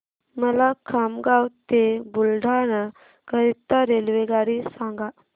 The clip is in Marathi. मला खामगाव ते बुलढाणा करीता रेल्वेगाडी सांगा